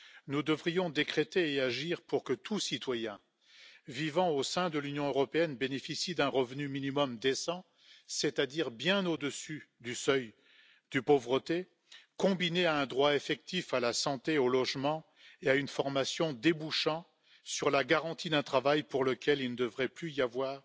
Nous devrions agir pour que tout citoyen vivant au sein de l'Union européenne bénéficie d'un revenu minimum décent, c'est à dire bien au dessus du seuil de pauvreté, combiné à un droit effectif à la santé, au logement et à une formation débouchant sur la garantie d'un travail pour lequel il ne devrait plus y avoir